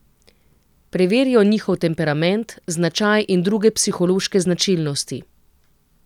Preverijo njihov temperament, značaj in druge psihološke značilnosti.